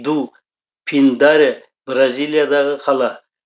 ду пиндаре бразилиядағы қала